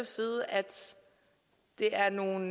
side at det er nogle